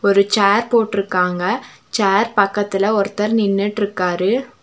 ஒரு சேர் போட்ருக்காங்க சேர் பக்கத்துல ஒருத்தர் நின்னுட்ருக்காரு.